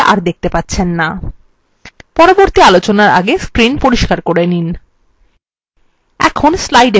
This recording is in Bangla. পরবর্তী আলোচনার আগে screen পরিস্কার করে নিন